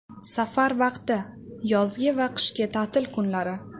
Safar vaqti: yozgi va qishki ta’til kunlari.